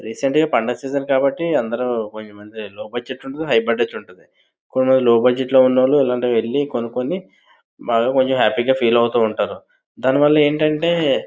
రీసెంట్గా పండగ సీజన్ కాబట్టి అందరూ బోల్డ్ మందికి హై బడ్జెట్ ఉంటాది లో బడ్జెట్ ఉంటాది.కొంతమంది లో బడ్జెట్ లో ఉన్నవాళ్లు ఇలాంటివి కొనుక్కొని కొంచెం హ్యాపీగా ఫీల్ అవుతూ ఉంటారు దానివల్ల ఏంటంటే--